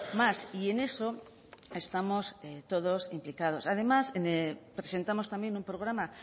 más y en eso estamos todos implicados además presentamos también un programa